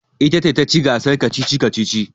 Ita ce ta ci gasar kacici-kacici.